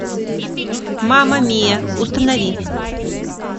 мама мия установи